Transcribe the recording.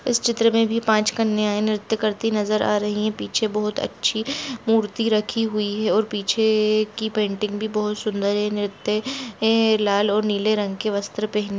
इस चित्र में भी पांच कन्या है निर्त्य करती नजर आ रही है पीछे बहुत अच्छी मूर्ति रखी हुई है और पीछे की पेंटिंग भी बहुत सुदर है निर्त्य ऐ लाल और नील रंग के वस्त्र पहने--